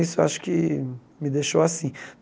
Isso eu acho que me deixou assim.